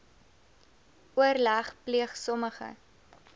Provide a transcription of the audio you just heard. oorleg pleeg sommige